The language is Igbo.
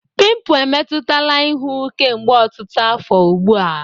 Pimpụ emetụtala ihu kemgbe ọtụtụ afọ ugbu a.